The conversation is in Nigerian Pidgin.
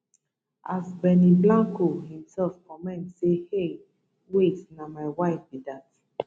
as benny blanco imsef comment say hey wait na my wife be dat